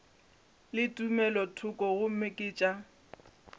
le tumelothoko gomme ke tša